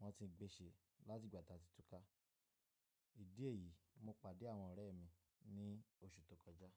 wọ́n ti ń gbé ṣe láti ìgbà tí a ti túká. Ìdí èyí, mo pàdé àwọn ọ̀rẹ́ mi ní oṣù tó kọjá.